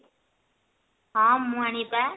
ହଁ ମୁଁ ଆଣିବି ବା